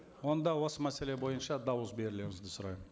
онда осы мәселе бойынша дауыс берулеріңізді сұраймын